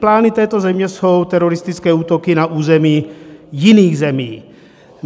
Plány této země jsou teroristické útoky na území jiných zemí.